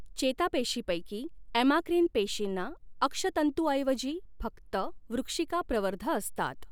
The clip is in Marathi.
चेतापेशीपैकी ॲुमाक्रिन पेशीना अक्षतंतूऐवजी फक्त वृक्षिका प्रवर्ध असतात.